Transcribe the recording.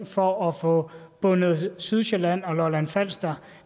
for at få bundet sydsjælland og lolland falster